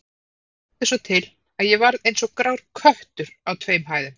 Það vildi svo til, að ég varð eins og grár köttur á tveim hæðum